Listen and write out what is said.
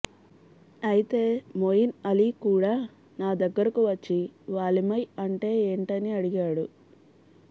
అయితే మొయిన్ అలీ కూడా నా దగ్గరకు వచ్చి వాలిమై అంటే ఏంటని అడిగాడు